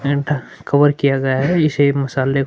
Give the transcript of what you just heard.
and cover किया गया है मसाले--